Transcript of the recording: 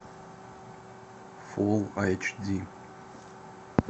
фулл айч ди